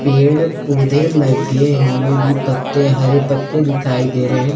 पेड़ पौधे लगे हुए भी पत्ते हरे पत्ते दिखाई दे रहे हैं।